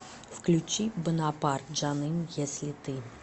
включи бонапарт жаным если ты